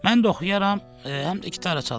Mən də oxuyaram, həm də gitara çalaram.